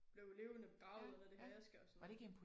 Blevet levende begravet nede i det her aske og sådan noget